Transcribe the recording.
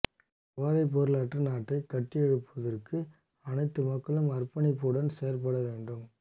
போதைப்பொருளற்ற நாட்டை கட்டியெழுப்புவதற்கு அனைத்து மக்களும் அர்ப்பணிப்புடன் செயற்பட வேண்டும்